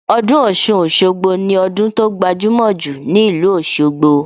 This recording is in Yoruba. Ọdún Ọ̀ṣun-Òṣogbo ni ọdún tó gbajumo jù ní ìlú Òsogbo